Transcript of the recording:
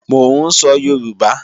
Mò ń sọ Yorùbá